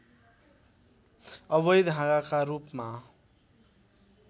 अवैध हाँगाका रूपमा